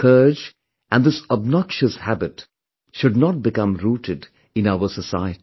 This scourge and this obnoxious habit should not become rooted in our society